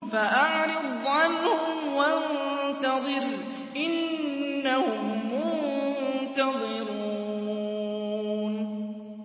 فَأَعْرِضْ عَنْهُمْ وَانتَظِرْ إِنَّهُم مُّنتَظِرُونَ